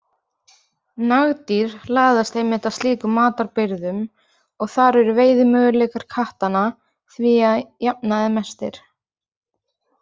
Nagdýr laðast einmitt að slíkum matarbirgðum og þar eru veiðimöguleikar kattanna því að jafnaði mestir.